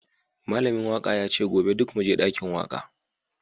Malamin waka yace gobe duk muje dakin waka